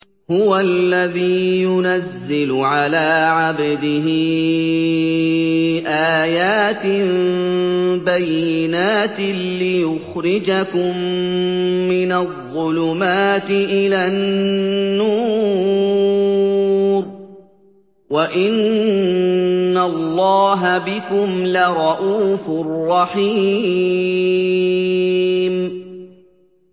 هُوَ الَّذِي يُنَزِّلُ عَلَىٰ عَبْدِهِ آيَاتٍ بَيِّنَاتٍ لِّيُخْرِجَكُم مِّنَ الظُّلُمَاتِ إِلَى النُّورِ ۚ وَإِنَّ اللَّهَ بِكُمْ لَرَءُوفٌ رَّحِيمٌ